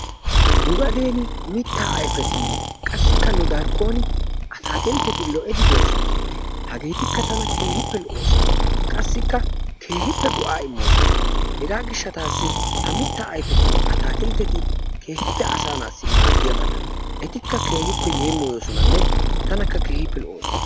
Nu gadeeni mittaa ayfetinne qassikka nu darkkon ataakiltteti lo'idi doosona. Hageetikka tana keehippe lo'oosona. qassikka keehippe go'aa immoosona. Hegaa gishshataassi ha mittaa ayifetinne atakiltteti keehippe asaa naata maaddiyabata. Etikka keehippe yeemoyoosonanne tanakka keehippe lo'oosona.